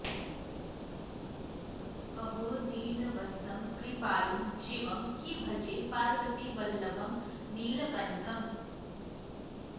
अहो दीनवत्सं कृपालुं शिवं हि भजे पार्वतीवल्लभं नीलकण्ठम्